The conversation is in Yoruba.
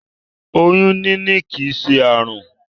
Oyún níní kìí ṣe àrùn.